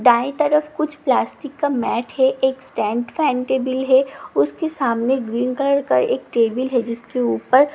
दाईं तरफ कुछ प्लास्टिक का मेट है एक स्टैन्ड फैन टेबल है उसके सामने ग्रीन कलर का एक टेबल है जिसके ऊपर --